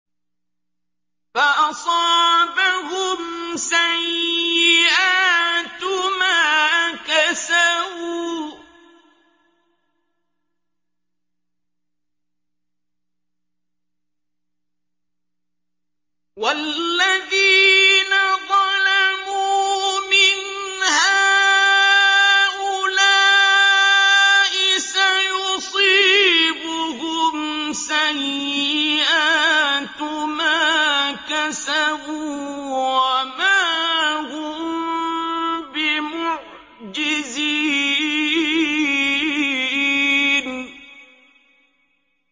فَأَصَابَهُمْ سَيِّئَاتُ مَا كَسَبُوا ۚ وَالَّذِينَ ظَلَمُوا مِنْ هَٰؤُلَاءِ سَيُصِيبُهُمْ سَيِّئَاتُ مَا كَسَبُوا وَمَا هُم بِمُعْجِزِينَ